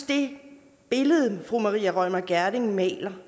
det billede fru maria reumert gjerding maler